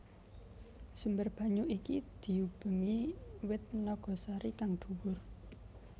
Sumber banyu iki diubengi wit nagasari kang dhuwur